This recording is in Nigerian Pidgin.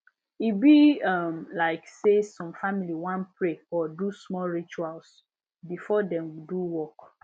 e be um like say some family wan pray or do small rituals before dem do work